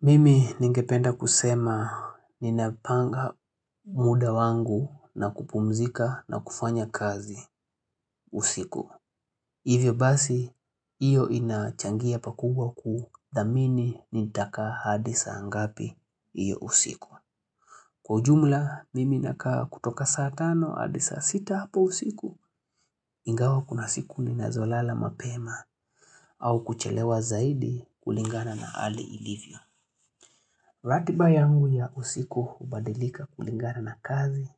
Mimi ningependa kusema ninapanga muda wangu na kupumzika na kufanya kazi usiku. Hivyo basi, hiyo inachangia pakubwa kudhamini nitakaa hadi saa ngapi hiyo usiku. Kwa ujumla, mimi nakaa kutoka saa tano hadi sas sita hapo usiku, ingawa kuna siku ninazolala mapema au kuchelewa zaidi kulingana na hali ilivyo. Ratiba yangu ya usiku hubadilika kulingana na kazi,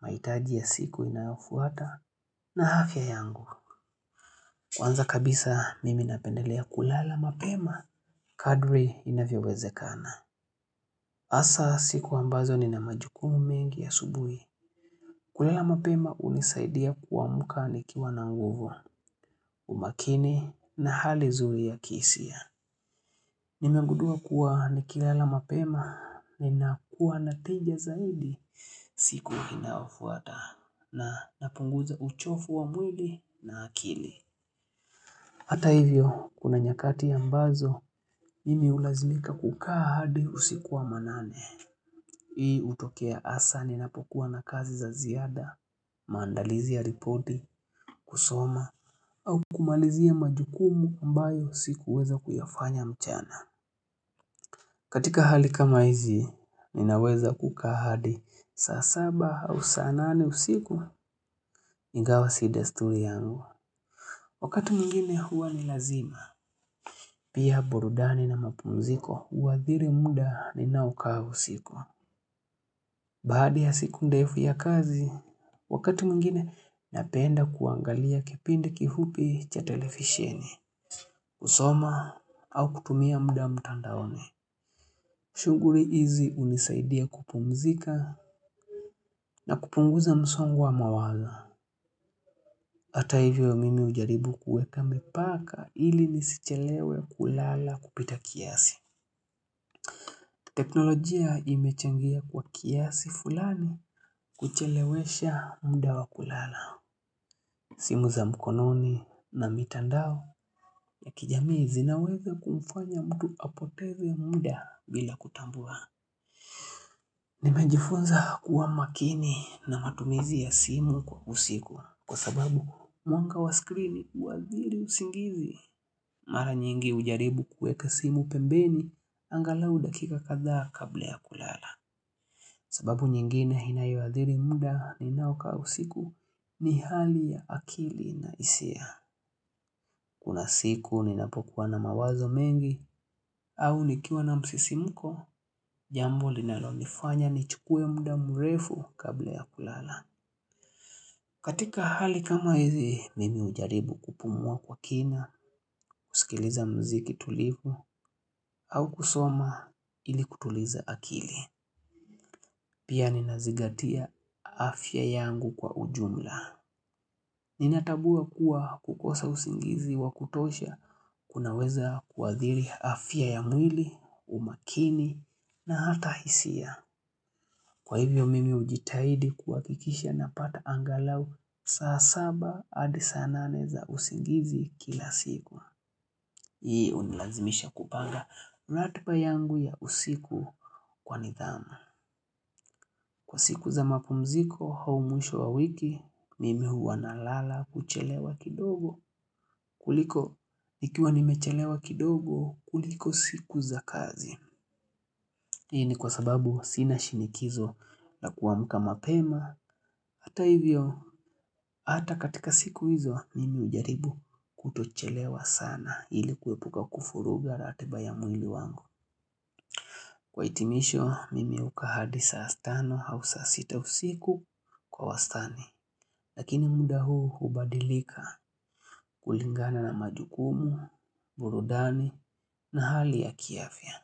mahitaji ya siku inayofuata, na afya yangu. Kwanza kabisa mimi napendelea kulala mapema, kadri inavyowezekana. Hasa siku ambazo nina majukumu mengi asubuhi. Kulala mapema hunisaidia kuamuka nikiwa na nguvu, umakini na hali zuri ya kihisia. Nimegundua kuwa nikilala mapema ninakuwa na tija zaidi siku inaofuata na napunguza uchovu wa mwili na akili. Hata hivyo, kuna nyakati ambazo, mimi hulazimika kukaa hadi usiku wa manane. Hii hutokea hasa ninapokuwa na kazi za ziada, maandalizi ya ripoti, kusoma, au kumalizia majukumu ambayo sikuweza kuyafanya mchana. Katika hali kama hizi, ninaweza kukaa hadi saa saba au saa nane usiku, ingawa si desturi yangu. Wakati mwingine huwa ni lazima. Pia burudani na mapumziko, huathiri muda ninaokaa usiku. Baada ya siku ndefu ya kazi, wakati mwingine napenda kuangalia kipindi kifupi cha televisheni. Husoma au kutumia muda mtandaoni. Shughuli hizi hunisaidia kupumzika na kupunguza msongo wa mawazo. Hata hivyo mimi hujaribu kuweka mipaka ili nisichelewe kulala kupita kiasi. Teknolojia imechangia kwa kiasi fulani kuchelewesha muda wa kulala. Simu za mkononi na mitandao ya kijamii zinaweza kumfanya mtu apoteze muda bila kutambua. Nimejifunza kuwa makini na matumizi ya simu kwa usiku kwa sababu mwanga wa skrini uadhili usingizi. Mara nyingi hujaribu kuweka simu pembeni angalau dakika kadhaa kabla ya kulala. Sababu nyingine inayoadhili muda ninao kaa usiku ni hali ya akili na hisia. Kuna siku ninapokuwa na mawazo mengi, au nikiwa na msisimko, jambo linalonifanya nichukue muda murefu kabla ya kulala. Katika hali kama hizi, mimi hujaribu kupumua kwa kina, kusikiliza muziki tulivu, au kusoma ili kutuliza akili. Pia ninazingatia afya yangu kwa ujumla. Ninatambua kuwa kukosa usingizi wa kutosha, kunaweza kuadhiri afya ya mwili, umakini, na hata hisia. Kwa hivyo mimi hujitahidi kuhakikisha napata angalau, saa saba hadi saa nane za usingizi kila siku. Hii unilazimisha kupanga ratiba yangu ya usiku kwa nidhamu. Kwa siku za mapumziko, au mwisho wa wiki, mimi huwa nalala kuchelewa kidogo, kuliko nikiwa nimechelewa kidogo, kuliko siku za kazi. Hii ni kwa sababu sina shinikizo la kuamka mapema, hata hivyo, hata katika siku hizo, mimi hujaribu kutochelewa sana ili kuepuka kuvuruga ratiba ya mwili wangu. Kwa hitimisho, mimi ukaa hadi saa tano au saa sita usiku kwa wastani. Lakini muda huu hubadilika kulingana na majukumu, burudani na hali ya kiafya.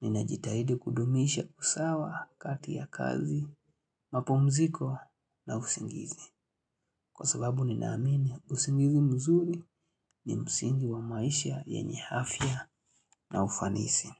Ninajitahidi kudumisha usawa kati ya kazi, mapumziko na usingizi. Kwa sababu ninaamini, usingizi mzuri ni msingi wa maisha yanye afya na ufanisi.